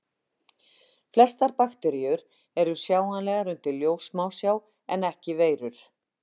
Flestar bakteríur eru sjáanlegar undir ljóssmásjá en ekki veirur.